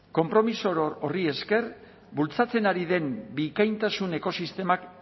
konpromiso horri esker bultzatzen ari den bikaintasun ekosistemak